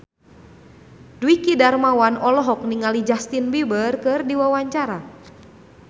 Dwiki Darmawan olohok ningali Justin Beiber keur diwawancara